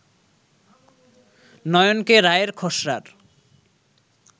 নয়নকে রায়ের খসড়ার